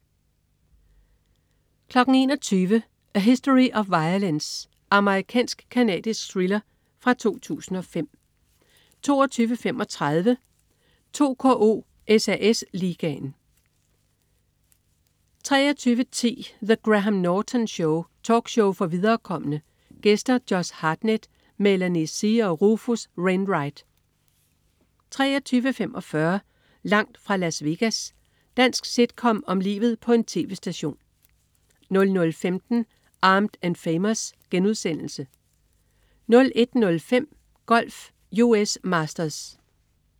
21.00 A History of Violence. Amerikansk-canadisk thriller fra 2005 22.35 2KO: SAS Ligaen 23.10 The Graham Norton Show. Talkshow for viderekomne. Gæster: Josh Hartnett, Melanie C og Rufus Wainwright 23.45 Langt fra Las Vegas. Dansk sitcom om livet på en tv-station 00.15 Armed & Famous* 01.05 Golf: US Masters